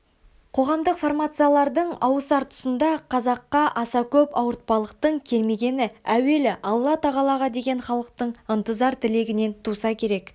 қоғамдық формациялардың ауысар тұсында қазаққа аса көп ауыртпалықтың келмегені әуелі алла-тағалаға деген халықтың ынтызар тілегінен туса керек